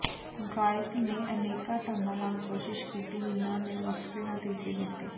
ਗਾਇਕ ਨੇ ਅਨੇਕਾਂ ਢੰਗਾਂ ਨਾਲ ਕੋਸ਼ਿਸ਼ ਕੀਤੀ ਜਿਨ੍ਹਾਂ ਨੇ ਵੱਖਰੇ ਨਤੀਜੇ ਦਿੱਤੇ